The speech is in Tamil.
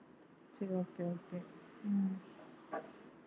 சரி okay okay உம்